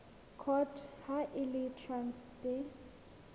court ha e le traste